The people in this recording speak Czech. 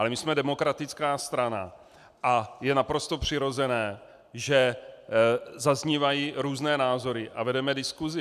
Ale my jsme demokratická strana a je naprosto přirozené, že zaznívají různé názory a vedeme diskusi.